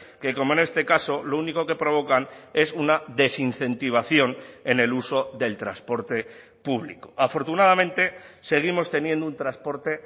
que como en este caso lo único que provocan es una desincentivación en el uso del transporte público afortunadamente seguimos teniendo un transporte